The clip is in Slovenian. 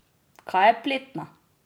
Kaj je pletna?